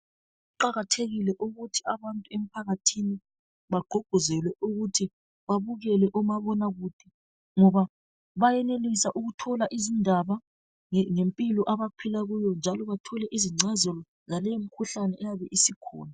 Kuqakathekile ukuthi abantu emphakathini bagqugquzelwe ukuthi, babukele omabonakude ngoba bayenelisa ukuthola izindaba ngempilo abaphila kuyo njalo bathole izingcazelo zaleyimikhuhlane eyabe isikhona.